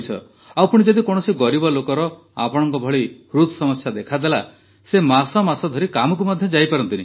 ଆଉ ପୁଣି ଯଦି କୌଣସି ଗରିବ ଲୋକର ଆପଣଙ୍କ ଭଳି ହୃଦ୍ ସମସ୍ୟା ଦେଖାଦେଲା ସେ ମାସ ମାସ ଧରି କାମକୁ ମଧ୍ୟ ଯାଇପାରନ୍ତିନି